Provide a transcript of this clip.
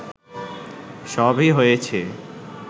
সবই হয়েছে